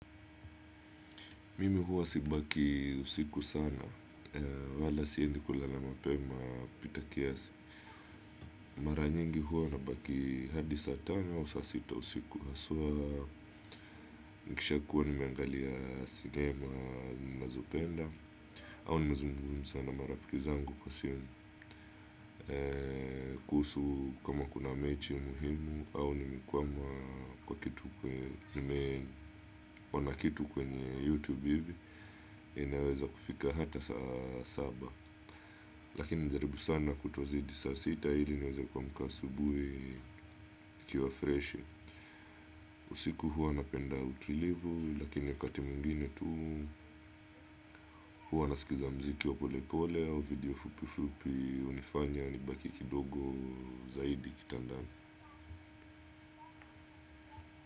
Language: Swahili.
Mimi huwa sibaki usiku sana wala siendi kulala mapema pita kiasi mara nyingi huwa nabaki hadi saa tana au saa sita usiku haswaa nikisha kuwa nimeangalia sinema ninazopenda au nimezungumza sana marafiki zangu kwa simu kuhusu kama kuna mechi muhimu au nimekwama kwa kitu kwenye nimeona kitu kwenye YouTube hivi inaweza kufika hata saa saba lakini nimejaribu sana kutozidi saa sita ili niweza kuamka asubuhi nikiwa freshi usiku huwa napenda utulivu lakini wakati mwingine tu huwa naskiza mziki wa polepole au video fupi fupi hunifanya nibaki kidogo zaidi kitandani.